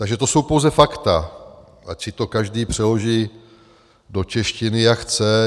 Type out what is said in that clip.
Takže to jsou pouze fakta, ať si to každý přeloží do češtiny, jak chce.